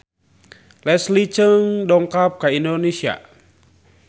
Leslie Cheung dongkap ka Indonesia